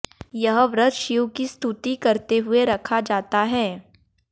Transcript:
यह व्रत शिव की स्तुति करते हुए रखा जाता है